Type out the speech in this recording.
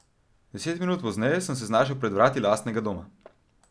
Deset minut pozneje sem se znašel pred vrati lastnega doma.